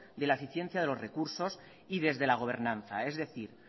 de la eficiencia de los recursos y desde la gobernanza es decir